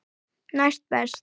Næst best.